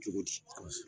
Cogo di